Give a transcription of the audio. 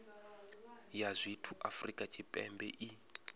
ya zwithu afrika tshipembe i